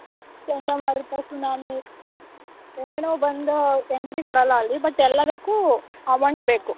ಚಂಡಮಾರುತ, ಸುನಾಮಿ ಏನೇನೋ ಬಂದ್ entry ಕೊಡಲ್ಲ ಅಲ್ಲಿ but ಎಲ್ಲದಕ್ಕೂ amount ಬೇಕು.